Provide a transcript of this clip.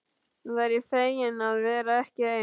Væri fegin að vera ekki ein.